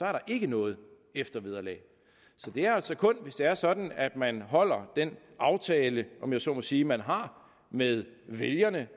er der ikke noget eftervederlag så det er altså kun hvis det er sådan at man holder den aftale om jeg så må sige som man har med vælgerne